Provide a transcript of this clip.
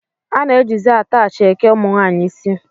A na-ejizi ataachị eke ụmụnwaanyị isi